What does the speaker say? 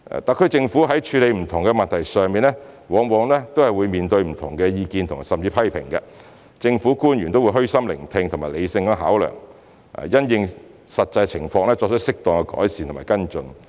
特區政府在處理不同的問題上，往往會面對不同的意見甚至批評，政府官員都會虛心聆聽和理性考量，並因應實際情況作出適當改善和跟進。